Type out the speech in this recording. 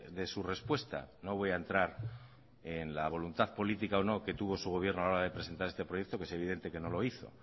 de su respuesta no voy a entrar en la voluntad política o no que tuvo su gobierno a la hora de presentar este proyecto que es evidente que no lo hizo